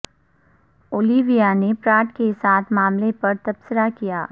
Olivia نے Pratt کے ساتھ معاملہ پر تبصرہ کیا